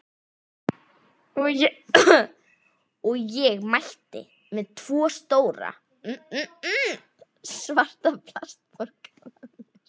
Og ég mætti með tvo stóra, svarta plastpoka með mér.